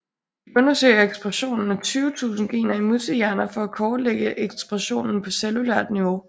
De undersøger expressionen af 20000 gener i musehjerner for at kortlægge expressionen på cellulært niveau